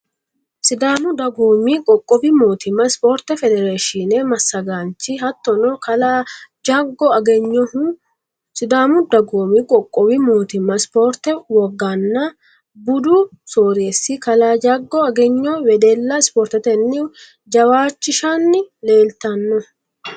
Sidaamu dagoomi qoqqowi mootimma spoorte federeeshine massagaanchi hattono kalaa jaggo agenyohu sidaamu dagoomi qoqqowi mootimma spoorte woganna budu soreessi kalaa jaggo agenyo wedella spoortetenni jawaachishshanni leeltanno.